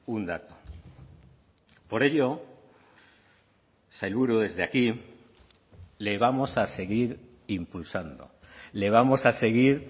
un dato por ello sailburu desde aquí le vamos a seguir impulsando le vamos a seguir